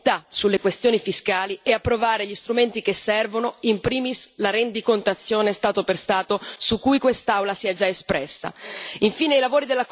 bisogna superare l'unanimità sulle questioni fiscali e approvare gli strumenti che servono, in primis la rendicontazione Stato per Stato, su cui quest'Aula si è già espressa.